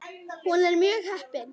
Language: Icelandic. Hún er mjög heppin.